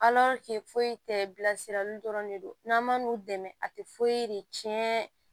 foyi tɛ bilasirali dɔrɔn de don n'an man n'u dɛmɛ a tɛ foyi de tiɲɛ